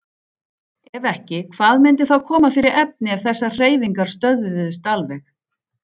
Ef ekki, hvað myndi þá koma fyrir efni ef þessar hreyfingar stöðvuðust alveg?